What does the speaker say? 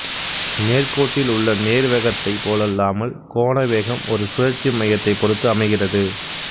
நேர்க்கோட்டில் உள்ள நேர்வேகத்தைப் போலல்லாமல் கோணவேகம் ஒரு சுழற்சி மையத்தைப் பொறுத்து அமைகிறது